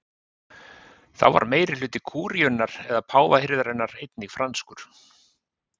Þá var meirihluti kúríunnar eða páfahirðarinnar einnig franskur.